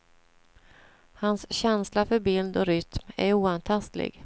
Hans känsla för bild och rytm är oantastlig.